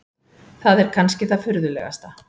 Það er kannski það furðulegasta.